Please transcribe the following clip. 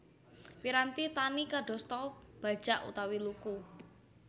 Piranti tani kadosta bajak utawi luku